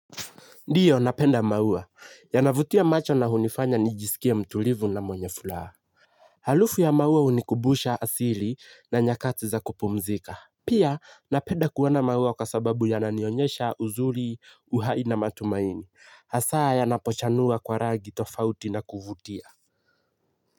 Ndiyo napenda maua yanavutia macho na hunifanya nijisikie mtulivu na mwenye furaha. Halufu ya maua hunikubusha asili na nyakati za kupumzika. Pia napenda kuwa na maua kwa sababu yananionyesha uzuri uhai na matumaini. Haswa yanapochanua kwa rangi tofauti na kuvutia.